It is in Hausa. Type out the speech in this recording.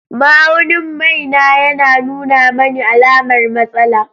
Ma'aunin mai na yana nuna mani alamar matsala.